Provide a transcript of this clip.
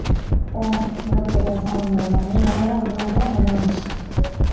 போகணும் சாமி கும்பிட போகணும் போனேன் ஏன் என்னையெல்லாம் கூப்பிட மாட்டியா என்ன கும்பாபிஷேகத்துக்கு